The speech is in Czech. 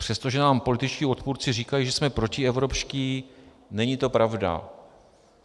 Přestože nám političtí odpůrci říkají, že jsme protievropští, není to pravda.